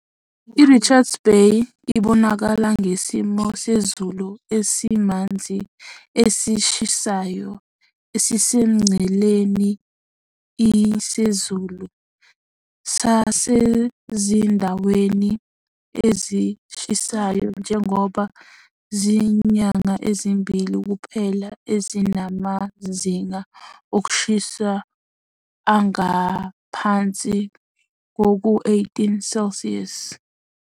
I-Richards Bay ibonakala ngesimo sezulu esimanzi esishisayo esisemngceleni i sezulu sasezindaweni ezishisayo njengoba izinyanga ezimbili kuphela ezinamazinga okushisa angaphansi kuka-18 degrees Celsius